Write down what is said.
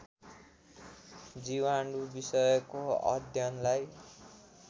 जीवाणु विषयको अध्ययनलाई